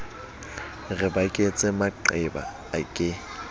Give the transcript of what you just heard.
re baketse maqeba a ke